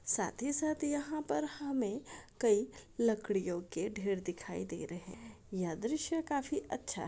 साथ ही साथ यहा पर हमे कई लकड़ियों के ढेर दिखाई दे रहे है यह दृश्य काफी अच्छा है।